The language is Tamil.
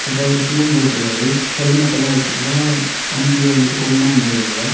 அப்புறம் அவரு ஷூவும் போட்ருக்காரு ஹெல்மெட்லாம் வெச்சுட்டுதான் வண்டிய வந்துட்டு கொண்டு வந்துருக்காவ.